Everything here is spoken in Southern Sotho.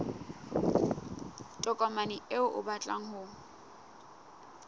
tokomane eo o batlang ho